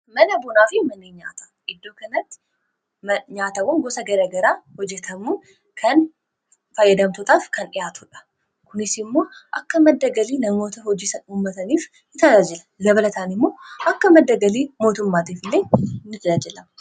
mana bunaa fi maneenyata iddoo kanatti nyaatawan gosa garagaraa hojetamuu kan faayyadamtotaaf kan dhihaatuudha kunis immoo akka maddagalii namoota hojiian uummataniif itajaajila gabalataan immoo akka maddagalii mootummaatiif illee in ajaajilama